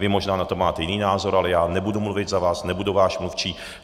Vy možná na to máte jiný názor, ale já nebudu mluvit za vás, nebudu váš mluvčí.